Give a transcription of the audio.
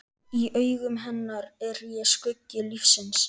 Í augum hennar er ég skuggi lífsins.